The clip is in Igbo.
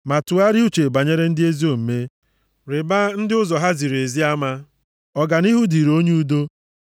Ma tụgharịa uche banyere ndị ezi omume, rịbaa ndị ụzọ ha ziri ezi ama; ọganihu dịịrị onye udo.